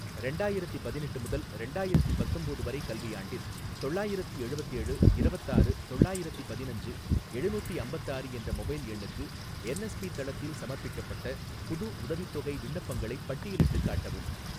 ரெண்டாயிரத்தி பதினெட்டு முதல் ரெண்டாயிரத்தி பத்தொம்போது வரை கல்வியாண்டில் தொள்ளாயிரத்தி எழுவத்தேழு இரவத்தாறு தொள்ளாயிரத்தி பதினஞ்சு எழுநூத்தி அம்பத்தாறு என்ற மொபைல் எண்ணுக்கு என்எஸ்பி தளத்தில் சமர்ப்பிக்கப்பட்ட புது உதவித்தொகை விண்ணப்பங்களைப் பட்டியலிட்டுக் காட்டவும்